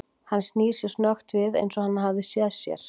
Hann snýr sér snöggt við eins og hann hafi séð að sér.